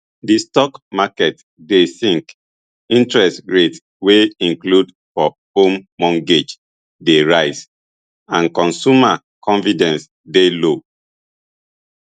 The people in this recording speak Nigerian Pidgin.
di stock market dey sink interest rates wey include for home mortgages dey rise and consumer confidence dey low